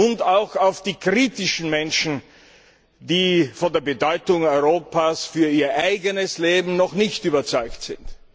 und auch auf die kritischen Menschen, die von der Bedeutung Europas für ihr eigenes Leben noch nicht überzeugt sind.